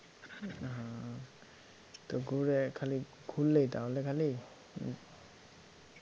হম তো ঘুরে খালি ঘুরলেই তাহলে খালি?